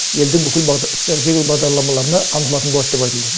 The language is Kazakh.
елдің бүкіл стратегиялық бағдарламаларына қамтылатын болады деп айтылды